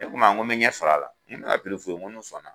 O Kuma n ko mi ɲɛ sɔr'a la n ɲa fu ye n ko n'u sɔnna.